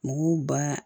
Mɔgɔw ba